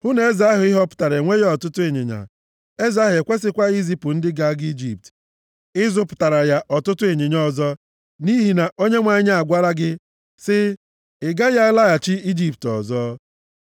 Hụ na eze ahụ ị họpụtara enweghị ọtụtụ ịnyịnya. Eze ahụ ekwesịkwaghị izipụ ndị ga-aga Ijipt ịzụpụtara ya ọtụtụ ịnyịnya ọzọ, nʼihi na Onyenwe anyị agwala gị sị, “Ị gaghị alaghachi Ijipt ọzọ.”